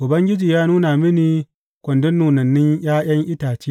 Ubangiji ya nuna mini kwandon nunannun ’ya’yan itace.